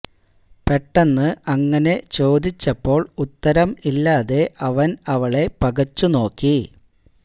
പെട്ടെന്ന് അങ്ങനെ ചോദിച്ചപ്പോൾ ഉത്തരം ഇല്ലാതെ അവൻ അവളെ പകച്ചു നോക്കി